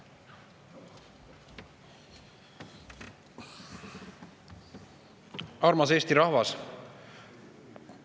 Armas Eesti rahvas!